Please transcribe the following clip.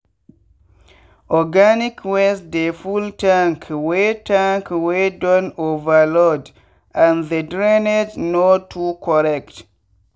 organic waste dey full tank wey tank wey don overload and the drainage no too correct.